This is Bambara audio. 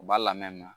U b'a lamɛn